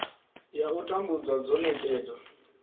ya u tambudzwa dzo nekedzwa